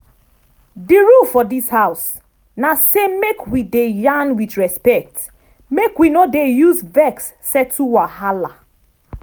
di rule for dis house na say make we dey yarn with respect make we no use vex settle wahala.